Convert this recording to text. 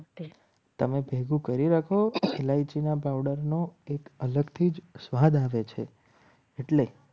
તમે ભેગું કરી રાખો એલઆઇસીના powder નો એક અલગથી જ સ્વાદ આવે છે. એટલે